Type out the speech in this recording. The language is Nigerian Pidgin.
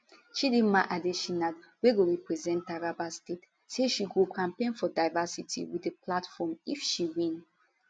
chidimma adetshina wey go represent taraba state say she go campaign for diversity wit di platform if she win